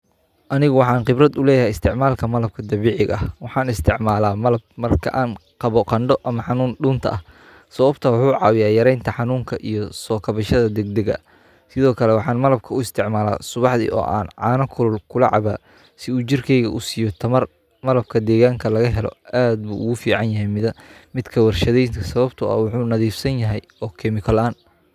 Aani waxaan khibrad u leeyahay isticmaalka malabka dabiiciga ah. Waxaan isticmaalaa malab marka aan qabo qandho ama xanuun dhunta ah. Sababtoo wuxuu caawiya yaraynta xanuunka iyo soo kabashada degdegga. Sidoo kale waxaan malabku u isticmalaa subaxdi oo aan caano kulul ula caba si jirkaaga u siiyo tamar. Malabka deegaanka laga helo aad ugu fiican yahay mida midka warshadaynta sababtoo ah wuxuu nadiifsan yahay oo chemical aan.